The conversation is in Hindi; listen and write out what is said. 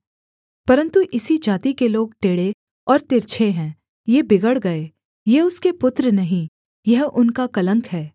परन्तु इसी जाति के लोग टेढ़े और तिरछे हैं ये बिगड़ गए ये उसके पुत्र नहीं यह उनका कलंक है